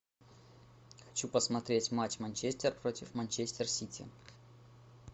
хочу посмотреть матч манчестер против манчестер сити